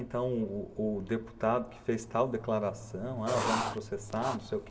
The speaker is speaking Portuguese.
Então o o deputado que fez tal declaração, ah vamos processar, não sei o que...